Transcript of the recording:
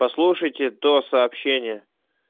послушайте то сообщение